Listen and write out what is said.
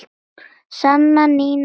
Sanna, Nína og Lilja.